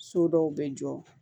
So dɔw bɛ jɔ